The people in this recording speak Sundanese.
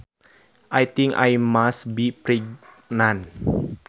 I think I must be pregnant